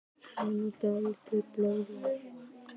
Hann er nú dálítið mikið blóðrauður!